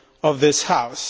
of this House.